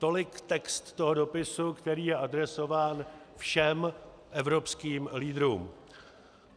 Tolik text toho dopisu, který je adresován všem evropským lídrům.